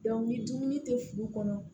ni dumuni tɛ furu kɔnɔ